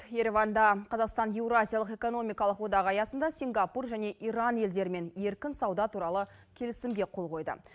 ереванда қазақстан еуразиялық экономикалық одақ аясында сингапур және иран елдерімен еркін сауда туралы келісімге қол қойды